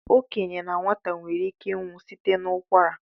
Okenye na nwata nwere ike inwe ụkwara